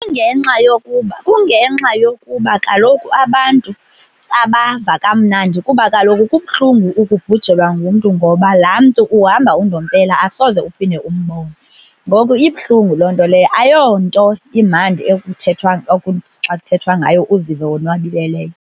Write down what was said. Kungenxa yokuba, kungenxa yokuba kaloku abantu abava kamnandi kuba kaloku kubuhlungu ukubhujelwa ngumntu, ngoba laa mntu uhamba undompela asoze uphinde umbone. Ngoku ibuhlungu loo nto leyo ayonto imandi ekuthethwa, okuthi xa kuthethwa ngayo uzive wonwabile leyo.